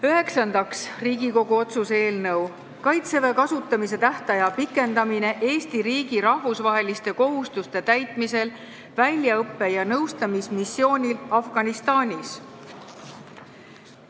Üheksandaks, Riigikogu otsuse "Kaitseväe kasutamise tähtaja pikendamine Eesti riigi rahvusvaheliste kohustuste täitmisel väljaõppe- ja nõustamismissioonil Afganistanis" eelnõu.